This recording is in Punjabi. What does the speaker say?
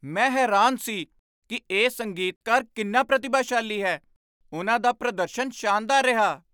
ਮੈਂ ਹੈਰਾਨ ਸੀ ਕਿ ਇਹ ਸੰਗੀਤਕਾਰ ਕਿੰਨਾ ਪ੍ਰਤਿਭਾਸ਼ਾਲੀ ਹੈ। ਉਨ੍ਹਾਂ ਦਾ ਪ੍ਰਦਰਸ਼ਨ ਸ਼ਾਨਦਾਰ ਰਿਹਾ।